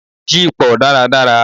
Yípọ́ dàrá dàrá